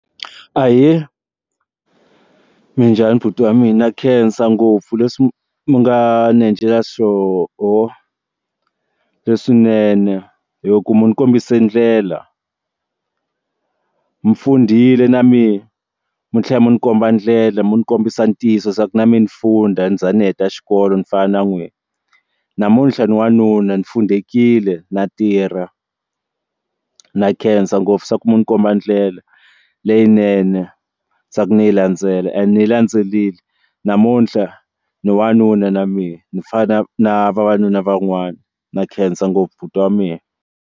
Ahee, minjhani buti wa mina, na khensa ngopfu leswi mi nga ni encela swoho leswinene hi ku mi ndzi kombise ndlela ndzi fundile na mina mi tlhela mi ni komba ndlela mi ni kombisa ntiyiso swa ku na mina ndzi funda ni za ni heta xikolo ni fana na n'wina namuntlha ni wanuna ni fundekile na tirha na khensa ngopfu swa ku mi ni komba ndlela leyinene swa ku ni yi landzela and ni yi landzelerile namuntlha ni wanuna na mina ni fana na vavanuna van'wana na khensa ngopfu buti wa mina.